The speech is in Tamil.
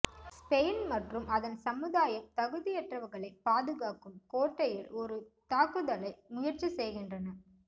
ஸ்பெயின் மற்றும் அதன் சமுதாயம் தகுதியற்றவர்களை பாதுகாக்கும் கோட்டையில் ஒரு தாக்குதலை முயற்சி செய்கின்றன